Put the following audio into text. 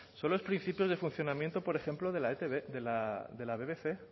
son los principios de funcionamiento por ejemplo de la bbc